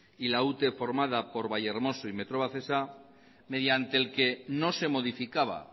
y la ute formada por vallehermoso y metrovacesa mediante el que no se modificaba